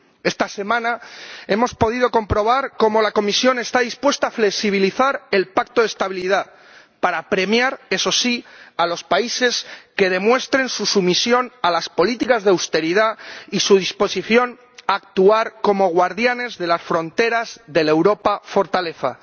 Esta semana hemos podido comprobar cómo la Comisión está dispuesta a flexibilizar el Pacto de Estabilidad para premiar, eso sí, a los países que demuestren su sumisión a las políticas de austeridad y su disposición a actuar como guardianes de las fronteras de la Europa fortaleza.